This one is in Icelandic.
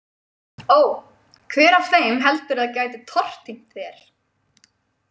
Ó, hver af þeim heldurðu að gæti tortímt þér?